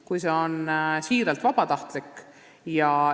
Kuid see peab olema siiralt vabatahtlik.